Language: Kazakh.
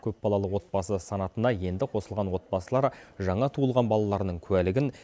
көпбалалы отбасы санатына енді қосылған отбасылар жаңа туылған балаларының куәлігін